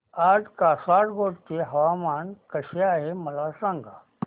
आज कासारगोड चे हवामान कसे आहे मला सांगा